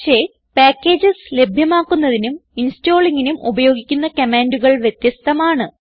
പക്ഷേ പാക്കേജസ് ലഭ്യമാക്കുന്നതിനും installingനും ഉപയോഗിക്കുന്ന കമാൻഡുകൾ വ്യത്യസ്ഥമാണ്